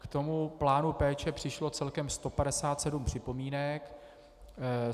K tomu plánu péče přišlo celkem 157 připomínek.